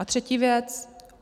A třetí věc.